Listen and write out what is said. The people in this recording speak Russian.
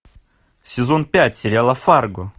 сезон пять сериала фарго